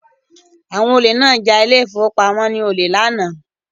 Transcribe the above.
Àwọn olè náà ja ile-ìfowópamó ní olè